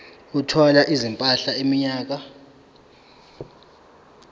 ethwala izimpahla iminyaka